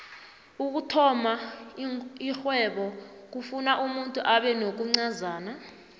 ukuthoma ixhwebo kufuna umuntu abenokuncazana